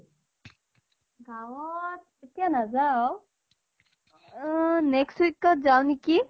গাঁৱত এতিয়া নাযাওঁ। আহ next week ত যাও নেকি।